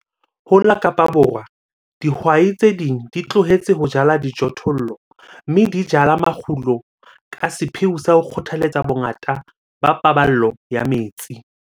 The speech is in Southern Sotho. Ho la Kaapa Borwa dihwai tse ding di tlohetse ho jala dijothollo, mme di jala makgulo ka sepheo sa ho kgothaletsa bongata ba paballo ya metsi.